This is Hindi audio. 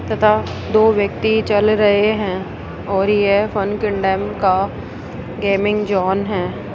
तथा दो व्यक्ति चल रहे हैं और यह फन किन डैम का गेमिंग जोन है।